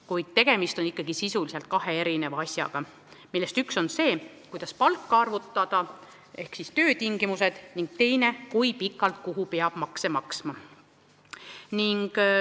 Kuid tegemist on ikkagi sisuliselt kahe erineva asjaga: üks on see, kuidas palka arvutada ja töötingimused, ning teine, kui pikalt kuhu peab makse maksma.